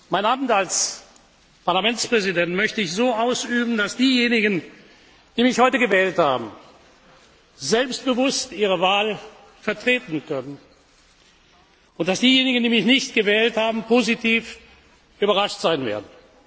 Mein Amt als Parlamentspräsident möchte ich so ausüben, dass diejenigen, die mich heute gewählt haben, selbstbewusst ihre Wahl vertreten können und dass diejenigen, die mich nicht gewählt haben, positiv überrascht sein werden.